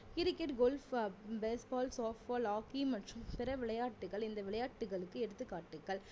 cricket, golf, baseball, hockey மற்றும் பிற விளையாட்டுக்கள் இந்த விளையாட்டுகளுக்கு எடுத்துகாட்டுக்கள்